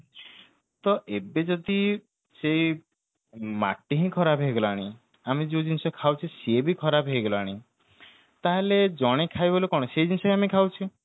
ତ ଏବେ ଯଦି ସେଇ ମାଟି ହିଁ ଖରାପ ହେଇ ଗଲାଣି ଆମେ ଯୋଉ ଜିନିଷ ଖାଉଛେ ସେଇ ଜିନିଷ ଖାଉଛେ ସିଏବି ଖରାପ ହେଇ ଗଲାଣି ତାହାଲେ ଜଣେ ଖାଇବ ବୋଲି କଣ ସେଇ ଜିନିଷ ହିଁ ଆମେ ଖାଉଛେ